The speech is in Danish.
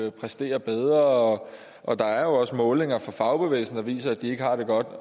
at præstere bedre og og der er jo også målinger fra fagbevægelsen der viser at de ikke har det godt